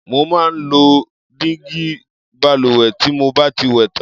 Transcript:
Mo máa ń lo dígí balùwẹ̀ tí mo bá ti wẹ̀ tán.